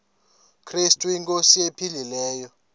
krestu inkosi ephilileyo